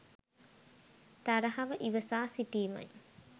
තරහව ඉවසා සිටීමයි.